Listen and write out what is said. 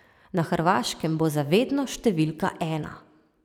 Na Hrvaškem bo za vedno številka ena.